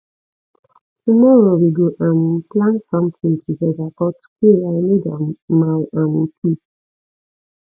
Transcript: tomorrow we go um plan sometin togeda but today i need um my um peace